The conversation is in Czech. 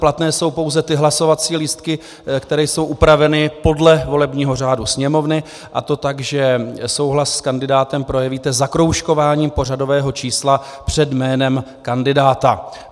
Platné jsou pouze ty hlasovací lístky, které jsou upraveny podle volebního řádu Sněmovny, a to tak, že souhlas s kandidátem projevíte zakroužkováním pořadového čísla před jménem kandidáta.